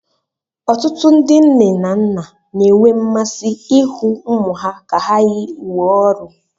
Ọtụtụ ndị nne na nna na-enwe mmasị ịhụ ụmụ ha ka ha yi uwe ọrụ